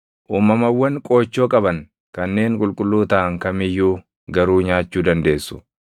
Uumamawwan qoochoo qaban kanneen qulqulluu taʼan kam iyyuu garuu nyaachuu dandeessu.